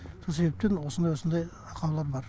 сол себептен осындай осындай ақаулар бар